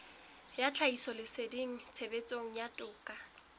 ya tlhahisoleseding tshebetsong ya toka